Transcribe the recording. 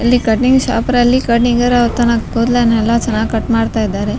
ಇಲ್ಲಿ ಕಟಿಂಗ್ ಶಾಪ್ರಲ್ಲಿ ಕಟಿಂಗ್ ಅವರ್ ತನ್ನ ಕೂದ್ಲನ್ನೆಲ್ಲಾ ತುಂಬ ಚನ್ನಾಗ್ ಕಟ್ ಮಾಡ್ತಾ ಇದ್ದಾರೆ .